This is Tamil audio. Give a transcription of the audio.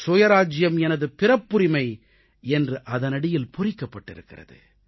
சுயராஜ்ஜியம் எனது பிறப்புரிமை என்று அதனடியில் பொறிக்கப்பட்டிருக்கிறது